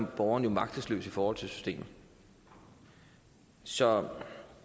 borgerne magtesløse over for systemet så